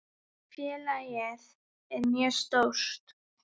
Félagið er mjög stórt.